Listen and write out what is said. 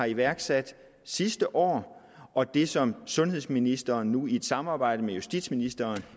iværksatte sidste år og det som sundhedsministeren nu i et samarbejde med justitsministeren